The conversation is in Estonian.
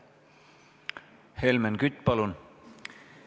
Helmen Kütt, palun!